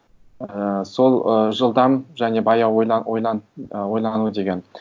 ыыы сол ы жылдам және баяу ы ойлану деген